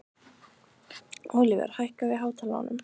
Ólíver, hækkaðu í hátalaranum.